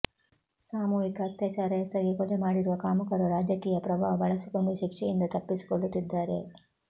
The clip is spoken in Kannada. ಸಾಮೂಹಿಕ ಅತ್ಯಾಚಾರ ಎಸಗಿ ಕೊಲೆ ಮಾಡಿರುವ ಕಾಮುಕರು ರಾಜಕೀಯ ಪ್ರಭಾವ ಬಳಸಿಕೊಂಡು ಶಿಕ್ಷೆಯಿಂದ ತಪ್ಪಿಸಿಕೊಳ್ಳುತ್ತಿದ್ದಾರೆ